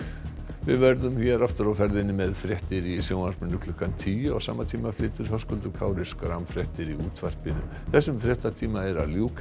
við verðum hér aftur á ferðinni með fréttir í sjónvarpinu klukkan tíu á sama tíma flytur Höskuldur Kári fréttir í útvarpinu þessum fréttatíma er að ljúka